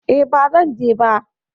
E, ba zan je ba.